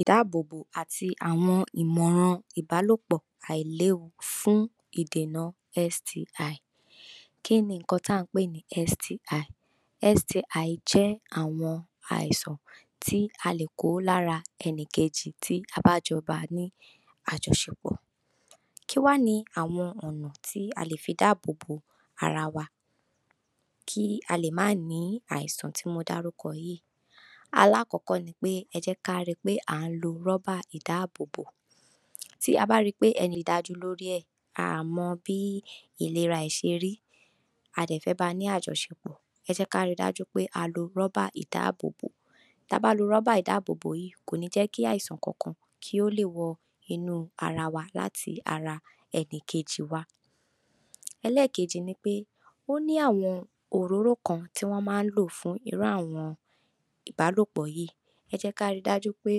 Ìdàbọ̀bò àti Àwọn Ìmọ̀ràn Ìbàlòpọ̀ Àìléwu Fún Ìdènà STI Kí ni nkan tí a ń pè ní STI? STI jẹ́ àwọn àìsàn tí a lè kó lára ènìyàn kejì tá a bá jọ bá ní àjọṣepọ̀. Kí ni àwọn ọ̀nà tí a lè fi dáàbò bo ara wa kí a má bà a ní àìsàn tí mo darúkọ yìí? Àkọ́kọ́ ni pé: Ẹ jẹ́ ká rí pé a ń lò róbà ìdàbọ̀bò. Tá a bá rí i pé a ò dájú nípa ilera ẹni tí a fẹ́ bá ní àjọṣepọ̀, ẹ jẹ́ ká rí dájú pé a lo róbà ìdàbọ̀bò. Tá a bá lo róbà ìdàbọ̀bò yìí, kò ní jẹ́ kí àìsàn kankan wọ inú ara wa láti ara ẹni kejì. Èkejì ni pé: Ó ní àwọn òróró kan tí wọ́n máa ń lò fún irú àjọṣepọ̀ yìí. Ẹ jẹ́ ká rí dájú pé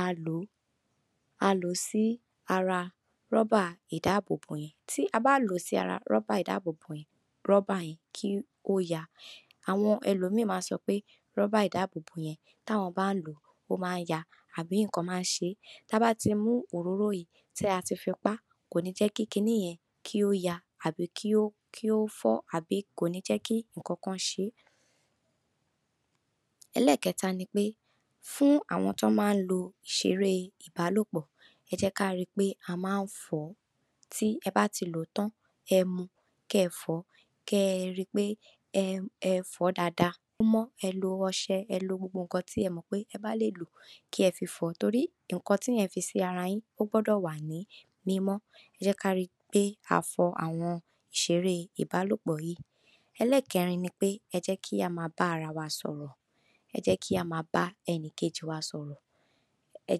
a fi sí ara róbà ìdàbọ̀bò yẹn. Tí a bá fi sí ara róbà yẹn, róbà náà kò ní yà. Àwọn ẹlòmíì máa ń sọ pé róbà ìdàbọ̀bò yẹn, táwọn bá ń lò ó, máa ń yà, tàbí pé nkan máa ń ṣẹlẹ̀. Ṣùgbọ́n, tá a bá ti mú òróró yii, ti a fi pa, kò ní jẹ́ kí róbà yẹn yà tàbí fọ́, tàbí jẹ́ kí nkan ṣẹlẹ̀. Ẹkẹta ni pé: Fún àwọn tó máa ń lò ìṣeré ìbàlòpọ̀, ẹ jẹ́ ká rí pé a máa ń fọ wọn. Tí ẹ bá ti lò tán, ẹ ma rí dájú pé ẹ fọ dáadáa. Ẹ lo ọṣẹ, E lo gbogbo nkan tí ẹ bá mọ pé ẹ lè lò tí yóò jẹ́ kí ohun yìí wà ní mímọ́. Ẹ jẹ́ ká rí pé a fọ àwọn nkan ìṣeré ìbàlòpọ̀ yìí dáadáa. Ẹkẹrin ni pé: Ẹ jẹ́ kí a máa bá ara wa sọ̀rọ̀. Ẹ jẹ́ ká máa bá ẹni kejì wa sọ̀rọ̀. Ẹ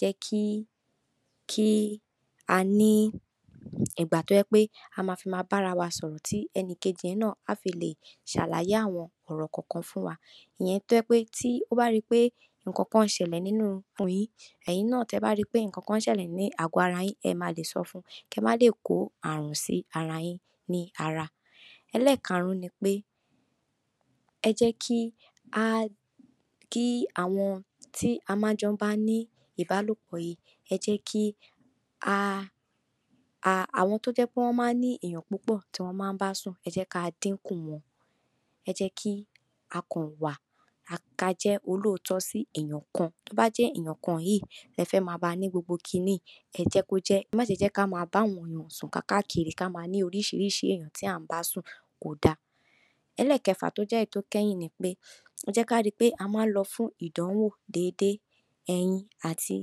jẹ́ ká ní ìgbà tó jẹ́ pé a máa fi bá ara wa sọ̀rọ̀. Ẹni kejì náà á lè ṣàlàyé àwọn ọ̀rọ̀ kọọkan fún wa. Tí ó bá jẹ́ pé o rí i pé nkan ń ṣẹlẹ̀ nínú ìkùn rẹ, ìwọ náà, tá a bá rí i pé nkan ń ṣẹlẹ̀ ní agbò ara rẹ, ẹ máa lè sọ fúnra rẹ. Kí ẹ má bà a kó àrùn sí ara yín, ní ara. Ẹkarùn-ún ni pé: Ẹ jẹ́ kí àwọn tí a máa ń bá ní ìbàlòpọ̀ ẹ jẹ́ kí wọn dìnkù. Ẹ jẹ́ ká jẹ́ olóòtọ́ sí ènìyàn kan. Tó bá jẹ́ pé ènìyàn kan yìí là ń bá ní gbogbo nkan yìí, àfi wípé a mọ ẹni tí a ń bá. Ẹ má ṣe jẹ́ ká máa bá àwọn ènìyàn sùn káàkiri; ká má ní oríṣìíríṣìí ènìyàn tá a ń bá sùn, kódà. Ẹkẹfà, tí ó jẹ́ ìkẹyìn, ni pé: Ẹ jẹ́ ká rí pé a máa ń lọ fún ìdánwò déédé. Ẹ yìn àti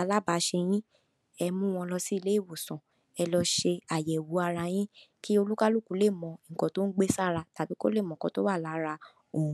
alábàṣepọ̀ yín, ẹ mú un lọ sí ilé ìwòsàn. Ẹ lọ ṣe àyẹ̀wò ara yín, kí olúkálùkù lè mọ ohun tó gbé sí ara, tàbí ohun tó wà nínú ara rẹ̀.